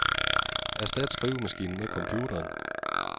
Erstat skrivemaskinen med computeren.